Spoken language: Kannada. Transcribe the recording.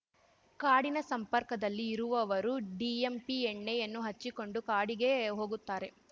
ಕಾಡಿನ ಸಂಪರ್ಕದಲ್ಲಿ ಇರುವವರು ಡಿಎಂಪಿ ಎಣ್ಣೆಯನ್ನು ಹಚ್ಚಿಕೊಂಡು ಕಾಡಿಗೆ ಹೋಗುತ್ತಾರೆ